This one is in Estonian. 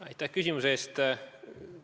Aitäh küsimuse eest!